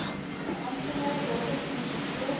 amptenaar datums ensovoorts